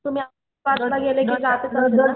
तुम्ही औरंगाबादला गेले कि